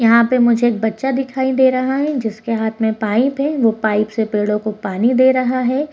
यहाँ पे मुझे एक बच्चा दिखाय दे रहा है जिसके हाथ में पाइप है वो पाइप से पेड़ो को पानी दे रहा है।